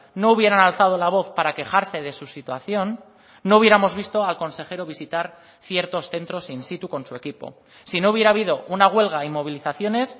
no hubieran alzado la voz para quejarse de su situación no hubiéramos visto al consejero visitar ciertos centros in situ con su equipo si no hubiera habido una huelga y movilizaciones